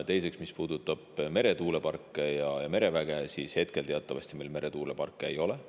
Teiseks, mis puudutab meretuuleparke ja mereväge, siis teatavasti meil meretuuleparke ei ole.